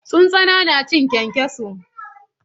Tsuntsana na cin kyankyaso.